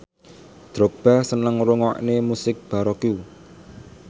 Drogba seneng ngrungokne musik baroque